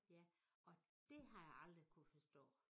Ja og det har jeg aldrig kunnet forstå